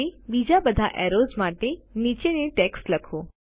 હવે બીજા બધા એરોઝ માટે નીચેની ટેક્સ્ટ લખો